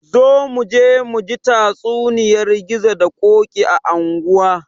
Zo muje muji tatsuniyar gizo da ƙoki a anguwa